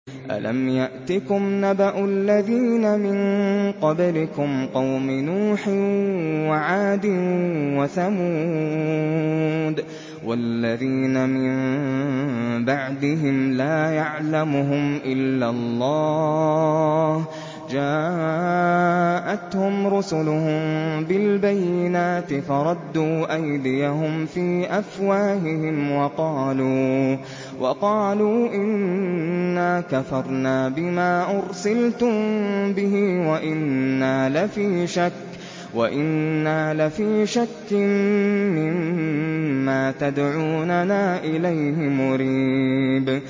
أَلَمْ يَأْتِكُمْ نَبَأُ الَّذِينَ مِن قَبْلِكُمْ قَوْمِ نُوحٍ وَعَادٍ وَثَمُودَ ۛ وَالَّذِينَ مِن بَعْدِهِمْ ۛ لَا يَعْلَمُهُمْ إِلَّا اللَّهُ ۚ جَاءَتْهُمْ رُسُلُهُم بِالْبَيِّنَاتِ فَرَدُّوا أَيْدِيَهُمْ فِي أَفْوَاهِهِمْ وَقَالُوا إِنَّا كَفَرْنَا بِمَا أُرْسِلْتُم بِهِ وَإِنَّا لَفِي شَكٍّ مِّمَّا تَدْعُونَنَا إِلَيْهِ مُرِيبٍ